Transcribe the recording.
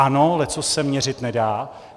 Ano, leccos se měřit nedá.